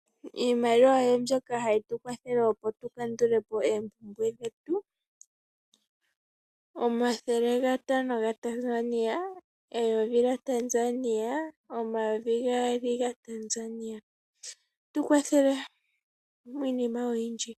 Iimaliwa oyo mbyoka hayi tu kwathele opo tu kandulepo oompumbwe dhetu, omathele gatano ga Tanzania, eyovi lyaTanzania nomayovi gaali gaTanzania. Ohayi tu kwathele miinima oyindji.